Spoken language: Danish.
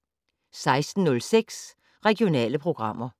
16:06: Regionale programmer